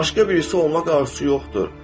Başqa birisi olmaq arzusu yoxdur.